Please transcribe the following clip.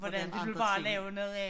Hvordan andre ting